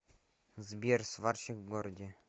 сбер сварщик в городе